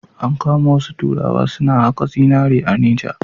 An kama wasu turawa suna haƙa zinari a Neja.